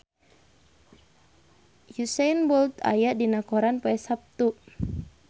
Usain Bolt aya dina koran poe Saptu